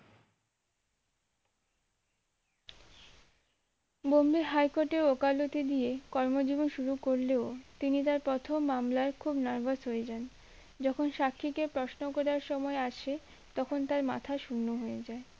Bombay high court এ উকালতি দিয়ে কর্মজীবন শুরু করলেও তিনি তার প্রথম মামলায় খুব নার্ভাস হয়ে যান যখন সাক্ষীকে প্রশ্ন করার সময় আসে তখন তার মাথা শূন্য হয়ে যায়